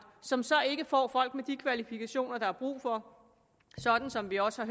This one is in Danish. som så ikke får folk med de kvalifikationer der er brug for sådan som vi også har